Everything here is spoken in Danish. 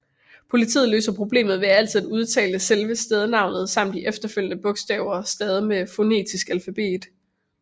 Politiet løser problemet ved altid at udtale selve stednavnet samt de efterfølgende bogstaver stavet med fonetisk alfabet